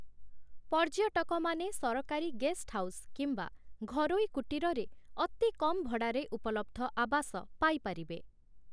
ପର୍ଯ୍ୟଟକମାନେ ସରକାରୀ ଗେଷ୍ଟହାଉସ୍ କିମ୍ବା ଘରୋଇ କୁଟୀରରେ ଅତି କମ୍ ଭଡ଼ାରେ ଉପଲବ୍ଧ ଆବାସ ପାଇପାରିବେ ।